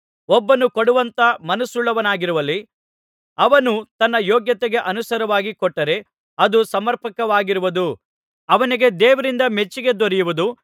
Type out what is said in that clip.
ಒಬ್ಬನು ಕೊಡುವಂತ ಮನಸ್ಸುಳ್ಳವನಾಗಿರುವಲ್ಲಿ ಅವನು ತನ್ನ ಯೋಗ್ಯತೆಗೆ ಅನುಸಾರವಾಗಿ ಕೊಟ್ಟರೆ ಅದು ಸಮರ್ಪಕವಾಗಿರುವುದು ಅವನಿಗೆ ದೇವರಿಂದ ಮೆಚ್ಚಿಕೆ ದೊರೆಯುವುದು